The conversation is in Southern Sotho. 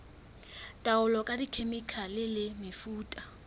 taolo ka dikhemikhale le mefuta